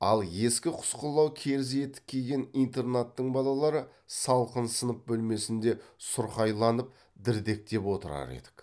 ал ескі құсқылау керзі етік киген интернаттың балалары салқын сынып бөлмесінде сұрқайланып дірдектеп отырар едік